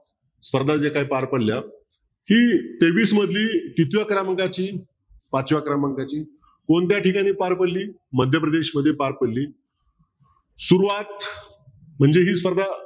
स्पर्धा ज्या काही पार पडल्या ही तेवीस मधली कितव्या क्रमांकाची पाचव्या क्रमांकाची कोणत्या ठिकाणी पार पडली मध्यप्रदेश मध्ये पार पडली सुरुवात म्हणजे ही स्पर्धा